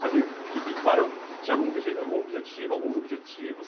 Assim, o que que qual era tinha algum obje algum objetivo, alguns objetivos?